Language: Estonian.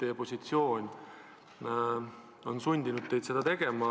Kui olete, siis ilmselt teie positsioon on sundinud teid seda tegema.